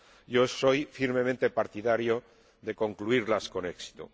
Yo soy firmemente partidario de concluirlas con éxito.